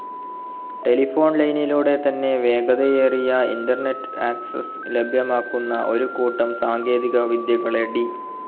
Telephone ലൈനിലൂടെ തന്നെ വേഗതയേറിയ ഇന്റർനെറ്റ്‌ ആക്സ്സസ് ലഭ്യമാക്കുന്ന ഒരു കൂട്ടം സാങ്കേതിക വിദ്യകളെ ഡി.